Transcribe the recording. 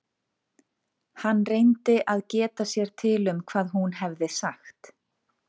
Hann reyndi að geta sér til um hvað hún hefði sagt.